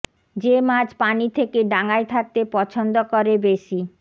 যে মাছ পানি থেকে ডাঙায় থাকতে পছন্দ করে বেশি